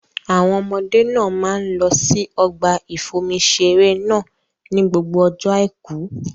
Àwọn ọmọdé náà máa ń lọ sí ọgbà ìfomi-iṣeré náà ni gbogbo ọjọ́ àìkú.